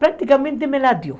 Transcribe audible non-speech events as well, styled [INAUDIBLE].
Praticamente me. [UNINTELLIGIBLE]